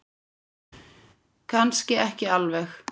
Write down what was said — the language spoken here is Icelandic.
Kannski ekki alveg.